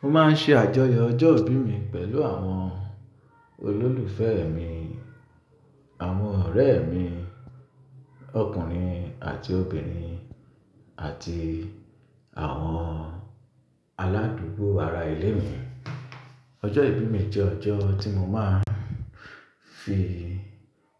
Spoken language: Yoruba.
Mo máa ń ṣe àjọyọ̀ ọjọ́ ìbí mi pẹ̀lú àwọn olólùfẹ́ mi, àwọn ọ̀rẹ́ mi ọkùnrin àti obìnrin àti àwọn aládùúgbò ara ilé mi. Ọjọ́ ìbí mi jẹ́ ọjọ́ tí mo máa ń fi